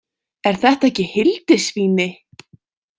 Er þetta ekki Hildisvíni?